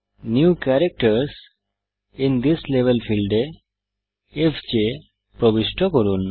new ক্যারাক্টারসহ in this level ফীল্ডে F J প্রবিষ্ট করুন